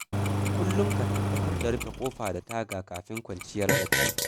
Kullum ka tabbatar da rufe ƙofa da taga kafin kwanciya bacci.